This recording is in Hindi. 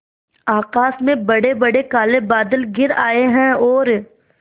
आकाश में बड़ेबड़े काले बादल घिर आए हैं और